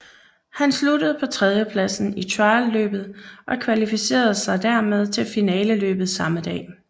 Han sluttede på tredjepladsen i trialløbet og kvalificerede sig dermed til finaleløbet samme dag